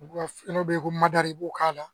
dɔ bɛ yen ko maduda i b'o k'a la